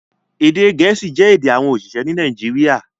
Èdè gẹ̀ẹ́sì jẹ́ èdè àwọn oṣiṣẹ ní Nàìjíríà